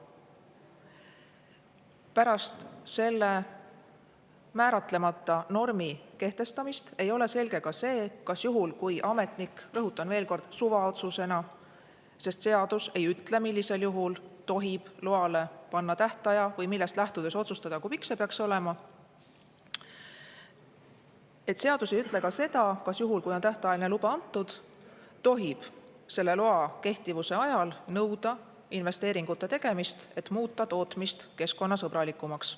Pärast selle määratlemata normi kehtestamist ei ole selge ka see, kas juhul, kui ametniku, rõhutan veel kord, suvaotsusega – sest seadus ei ütle, millisel juhul tohib loale panna tähtaja või millest lähtudes otsustada, kui pikk selle peaks olema – on tähtajaline luba antud, tohib selle loa kehtivuse ajal nõuda investeeringute tegemist, et muuta tootmist keskkonnasõbralikumaks.